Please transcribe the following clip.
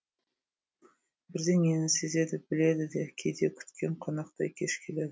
бірдеңені сезеді біледі де кейде күткен қонақтай кеш келеді